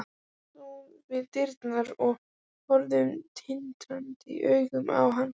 Hún stóð við dyrnar og horfði tindrandi augum á hann.